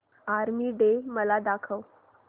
army Day मला दाखव